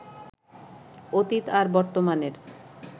অতীত আর বর্তমানের